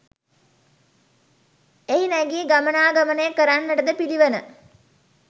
එහි නැගී ගමනාගමනය කරන්නටද පිළිවන.